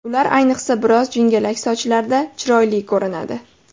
Ular ayniqsa biroz jingalak sochlarda chiroyli ko‘rinadi.